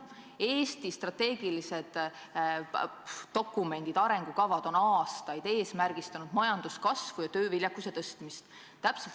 Eesti strateegilised dokumendid, sh arengukavad on aastaid eesmärgiks seadnud majanduskasvu ja tööviljakuse tõstmist.